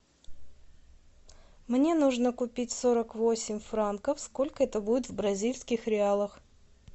мне нужно купить сорок восемь франков сколько это будет в бразильских реалах